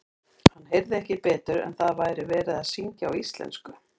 Hann heyrði ekki betur en að það væri verið að syngja á íslensku.